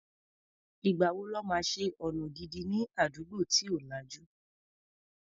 Ìgbà wo lọ́ máa ṣe ọ̀nà gidi ní àdúgbò tí ò lajú?